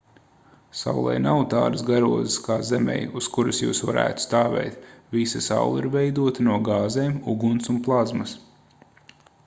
saulei nav tādas garozas kā zemei uz kuras jūs varētu stāvēt visa saule ir veidota no gāzēm uguns un plazmas